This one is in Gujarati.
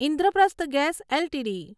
Indraprastha gas LTD